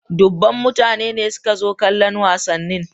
Dubban mutane ne suka zo kallon wasannin.